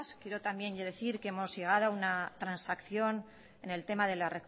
quiero también yo decir que hemos llegado a una transacción en el tema de la